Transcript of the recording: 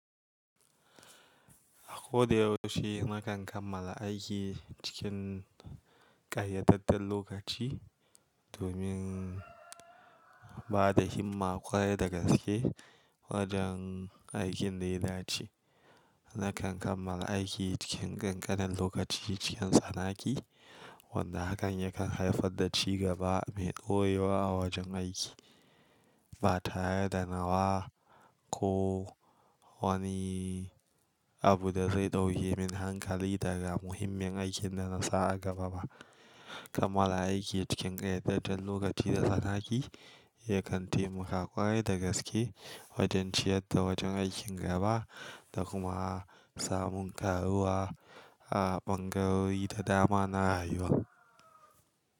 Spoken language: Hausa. A ko da yaushe na kan kammala aiki cikin ƙayyadaddan lokaci domin ba da himma ƙwarai da gaske wajen aikin da ya dace. Na kan kammala aiki cikin ƙanƙanan lokaci cikin tsanaki, wanda hakan yakan haifar da ci gaba mai ɗoye wa wajen aiki. Ba tare da nawa ko wani abu da zai ɗauke min hankali daga muhimmin aikin da na sa a gaba ba. Kammala aiki cikin ƙayyadaddan lokaci da tsanaki yakan taimaka ƙwarai da gaske wajen ciyar da wajen aikin gaba da kuma samun karuwa a ɓangarori da dama na rayuwa.